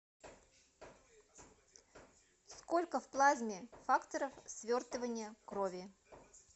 сколько в плазме факторов свертывания крови